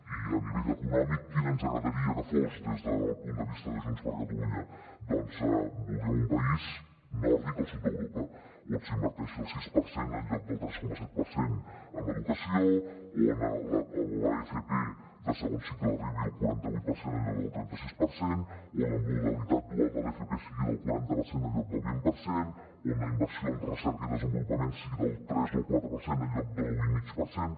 i a nivell econòmic quin ens agradaria que fos des del punt de vista de junts per catalunya doncs voldríem un país nòrdic al sud d’europa on s’inverteixi el sis per cent en lloc del tres coma set per cent en educació on l’fp de segon cicle arribi al quaranta vuit per cent en lloc del trenta sis per cent on la modalitat dual de l’fp sigui del quaranta per cent en lloc del vint per cent on la inversió en recerca i desenvolupament sigui del tres o el quatre per cent en lloc de l’u i mig per cent